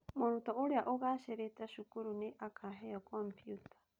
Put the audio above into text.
Mũrutwo ũrĩa ũgaacĩrĩte cukuru nĩ akaheo kompiuta